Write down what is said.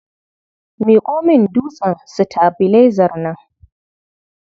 Miƙo min dutsen sitabilaizar nan.